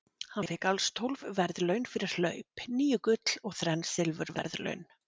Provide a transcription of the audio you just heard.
Hann fékk alls tólf verðlaun fyrir hlaup, níu gull og þrenn silfurverðlaun.